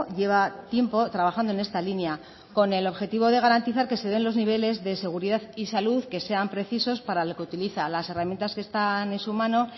lleva tiempo trabajando en esta línea con el objetivo de garantizar que se den los niveles de seguridad y salud que sean precisos para lo que utiliza las herramientas que están en su mano